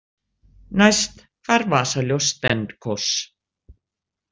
Næst hvarf vasaljós Stenkos.